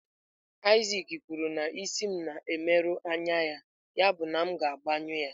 Isaac kwuru na isi m na-emerụ anya ya, yabụ na m ga-agbanyụ ya.